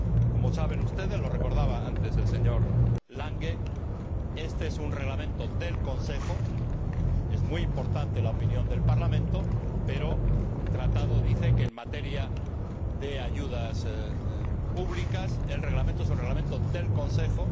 Como saben ustedes lo recordaba antes el señor Langen éste es un Reglamento del Consejo, es muy importante la opinión del Parlamento, pero el Tratado dice que, en materia de ayudas públicas, el Reglamento es un Reglamento del Consejo.